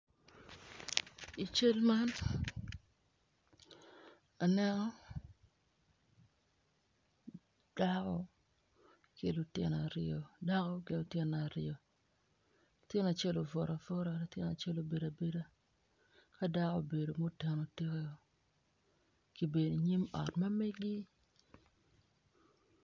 I cal man aneno dako ki lutino aryo latin acel obuto abuta ki dako obedo muteno tikeo gubedo i nyim ot ma meggi.